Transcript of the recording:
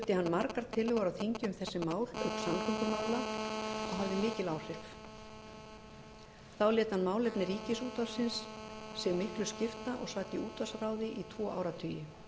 margar tillögur á þingi um þessi mál auk samgöngumála og hafði mikil áhrif þá lét hann málefni ríkisútvarpsins sig miklu skipta og sat í útvarpsráði í tvo áratugi